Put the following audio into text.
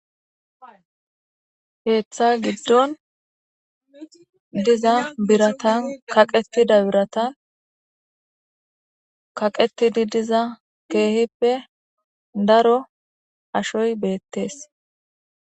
Keeththa giddon diza biratan kaqetida birata kaqetidi diza keehippe daro ashoy beettees